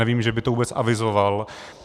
Nevím, že by to vůbec avizoval.